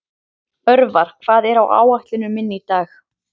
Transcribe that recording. Örvar, hvað er á áætluninni minni í dag?